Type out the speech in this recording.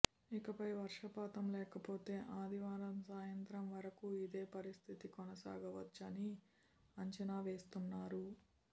ఇకపై వర్షపాతం లేకపోతే ఆదివారం సాయంత్రం వరకు ఇదే పరిస్థితి కొనసాగవచ్చని అంచనా వేస్తున్నారు